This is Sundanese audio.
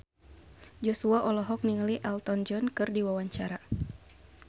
Joshua olohok ningali Elton John keur diwawancara